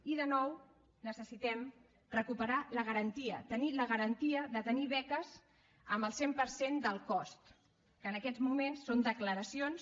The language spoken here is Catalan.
i de nou necessitem recuperar la garantia tenir la garantia de tenir beques amb el cent per cent del cost que en aquests moments són declaracions